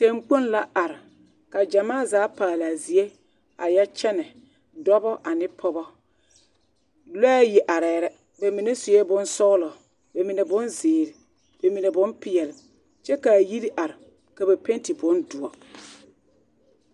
Teŋkpoŋ la are ka ɡyamaa zaa paale a zie a yɛ kyɛnɛ dɔbɔ ane pɔɡɔ lɔɛ ayi arɛɛ la ba mine sue bonsɔɡelɔ ba mine bonziiri ba mine bompeɛl kyɛ ka a yiri are ka ba pɛnte bondoɔre.